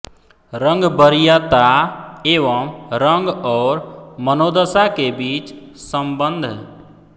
रंग वरीयता एवं रंग और मनोदशा के बीच संबंध